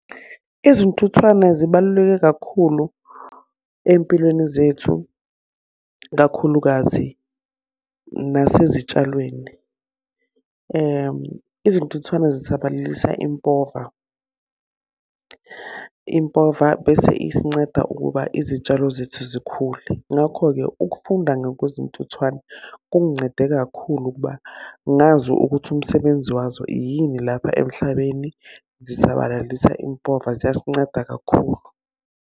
Izintuthwane zibaluleke kakhulu ey'mpilweni zethu, kakhulukazi nasezitshalweni. Izintuthwane zisabalalisa impova. Impova bese isincede ukuba izitshalo zethu zikhule. Ngakho-ke ukufunda ngokuzintuthwane kungincede kakhulu ukuba ngazi ukuthi umsebenzi wazo yini lapha emhlabeni. Zisabalalisa impova ziyasinceda kakhulu.